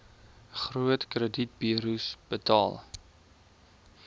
groot kredietburos betaal